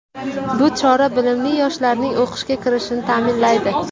Bu chora bilimli yoshlarning o‘qishga kirishini ta’minlaydi.